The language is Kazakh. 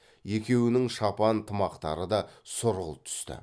екеуінің шапан тымақтары да сұрғылт түсті